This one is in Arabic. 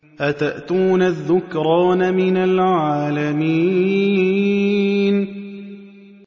أَتَأْتُونَ الذُّكْرَانَ مِنَ الْعَالَمِينَ